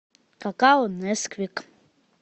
какао несквик